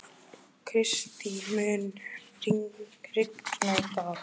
Kristý, mun rigna í dag?